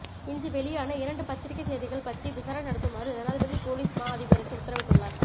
இன்று வெளியான இரண்டு பத்திரிகை செய்திகள் பற்றி விசாரணை நடத்துமாறு ஜனாதிபதி பொலிஸ் மா அதிபருக்கு உத்தரவிட்டுள்ளார்